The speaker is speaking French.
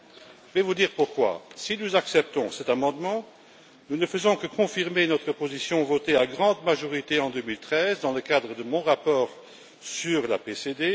Je vais vous dire pourquoi si nous acceptons cet amendement, nous ne faisons que confirmer notre position votée à la grande majorité en 2013 dans le cadre de mon rapport sur la CPD.